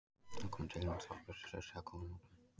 Þá komu tilraunir Þorbjörns í Surtsey að góðum notum.